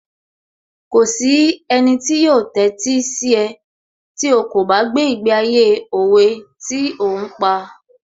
Kò sí ẹnì tí yóò tẹ́sí sí ẹ tí ó kò bá gbé ìgbé ayé òwe tí ò ń pa